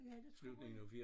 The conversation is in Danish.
Ja det tror jeg